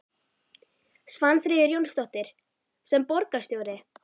Svanfríður Jónsdóttir: Sem borgarstjóri?